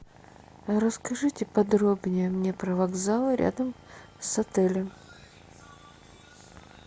расскажите подробнее мне про вокзалы рядом с отелем